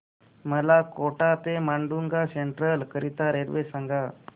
मला कोटा ते माटुंगा सेंट्रल करीता रेल्वे सांगा